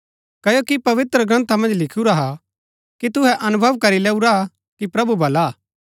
क्ओकि पवित्रग्रन्था मन्ज लिखुरा हा कि तुहै अनुभव करी लैऊरा कि प्रभु भला हा